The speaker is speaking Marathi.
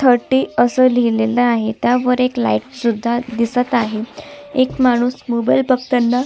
थर्टी असं लिहलेल आहे त्यावर एक लाइट सुद्धा दिसत आहे एक माणूस मोबाइल बघताना--